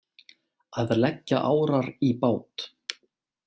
Að leggja árar í bát